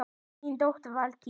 Þín dóttir, Valdís.